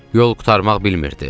Yol qurtarmaq bilmirdi.